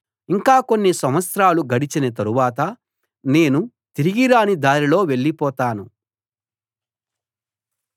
ఇంకా కొన్ని సంవత్సరాలు గడచిన తరువాత నేను తిరిగిరాని దారిలో వెళ్ళిపోతాను